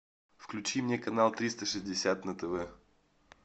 включи мне канал триста шестьдесят на тв